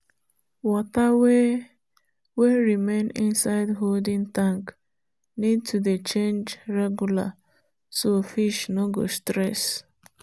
water wey wey remain inside holding tank need to dey change regular so fish no go stress.